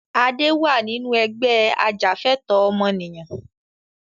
Adé wá nínú Ẹgbẹ́ ajàfẹ̀tọ̀ ọmọnìyàn